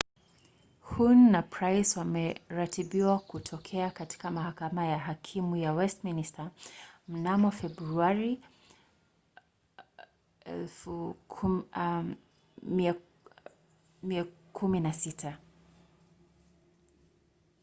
huhne na pryce wameratibiwa kutokea katika mahakama ya hakimu ya westminster mnamo februari 16